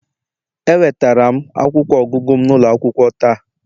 Ewetara m akwụkwọ ọgụgụ m n'ụlọ akwụkwọ taa